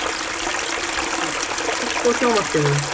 Mír, kveiktu á sjónvarpinu.